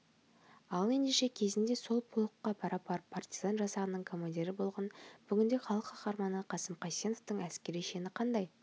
ал ендеше кезінде сол полкқа пара-пар партизан жасағының командирі болған бүгінде халық қаһарманы қасым қайсеновтың әскери шені қандай